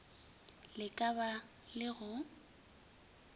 le ka ba le go